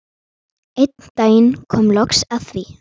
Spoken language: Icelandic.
Einn daginn kom loks að því.